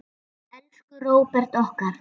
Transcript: Elsku Róbert okkar.